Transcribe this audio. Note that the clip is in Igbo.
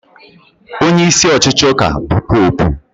Onyeisi ọchịchị ụka bụ Popu